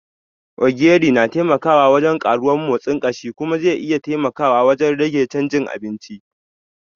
Ogiri na taimakawa wajen karuwar motsin kashi kuma zai iya taimakawa wajen rage chanjin abinci.